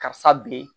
Karisa bi